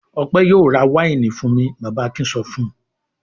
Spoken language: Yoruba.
"Ọpẹ́ yóò ra wáìnì fún mi!" Bàbá Akin sọ fún un.